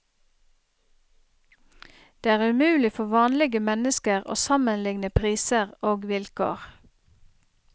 Det er umulig for vanlige mennesker å sammenligne priser og vilkår.